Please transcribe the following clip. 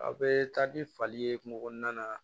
A bɛ taa ni fali ye kungo kɔnɔna na